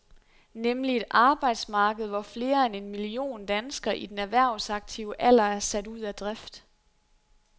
Nemlig et arbejdsmarked, hvor flere end en million danskere i den erhvervsaktive alder er sat ud af drift.